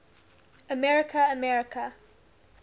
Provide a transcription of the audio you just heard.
america america